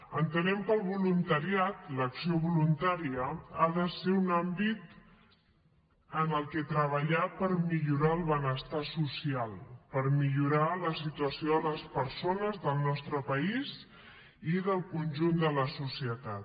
entenem que el voluntariat l’acció voluntària ha de ser un àmbit en el qual treballar per millorar el benestar social per millorar la situació de les persones del nostre país i del conjunt de la societat